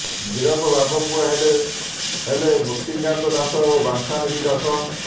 ଗିରଫ ବାପ ପୁଅ ହେଲେ ହେଲେ ମୁକ୍ତିକାନ୍ତ ଦାସ ଓ ବାଞ୍ଛାନିଧି ଦାସ